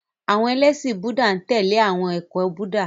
Àwọn ẹlẹ́ṣin Búúdà n tẹle awọn ẹkọ Buddha.